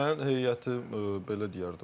Mən heyətim belə deyərdim.